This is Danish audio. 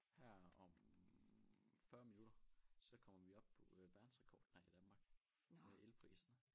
Her om 40 minutter så kommer vi op på verdensrekord nej i Danmark med elpriserne